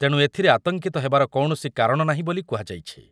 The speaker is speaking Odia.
ତେଣୁ ଏଥିରେ ଆତଙ୍କିତ ହେବାର କୌଣସି କାରଣ ନାହିଁ ବୋଲି କୁହାଯାଇଛି।